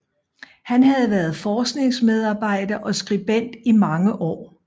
Han havde været forskningsmedarbejder og skribent i mange år